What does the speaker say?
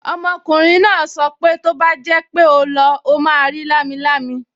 Ọmọkùnrin náà sọ pé tó bá jẹ́ pé ó lọ, ó máa rí lámilámi